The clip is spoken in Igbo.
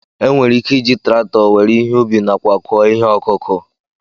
Enwere ike iji traktọ wéré ihe ubi nákwà kụo ihe ọkụkụ